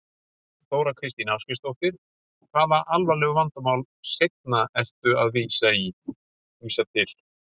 Þóra Kristín Ásgeirsdóttir: Hvaða alvarlegu vandamál seinna ertu að vísa til?